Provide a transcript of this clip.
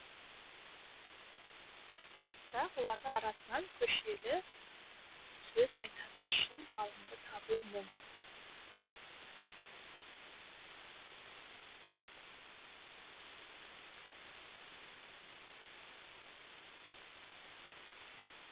бірақ солардың арасынан көшелі сөз айтатын шын ғалымды табу мұң